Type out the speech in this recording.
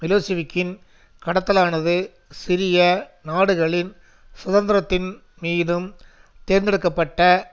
மிலோசிவிக்கின் கடத்தலானது சிறிய நாடுகளின் சுதந்திரத்தின் மீதும் தேர்ந்தெடுக்க பட்ட